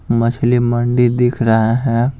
मछली मंडी दिख रहा है।